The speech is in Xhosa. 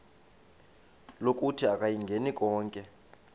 lokuthi akayingeni konke